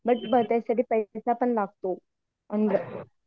but त्याच्यासाठी पैसा पण लागतो